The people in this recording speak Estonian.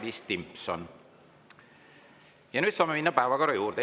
Nüüd saame minna päevakorra juurde.